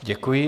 Děkuji.